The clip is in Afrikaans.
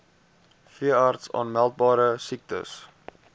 veeartse aanmeldbare siektes